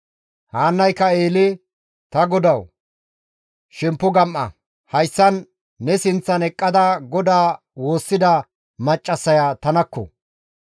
Haannayka Eele, «Ta godawu, shemppo gam7a; hayssan ne sinththan eqqada GODAA woossida maccassaya tanakko!